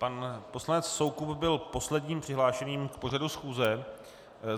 Pan poslanec Soukup byl posledním přihlášeným k pořadu schůze.